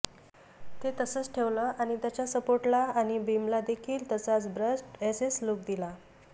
ते तसंच ठेवलं आणि त्याच्या सपोर्टला आणि बीमला देखील तसाच ब्रश्ड एसएस लूक दिला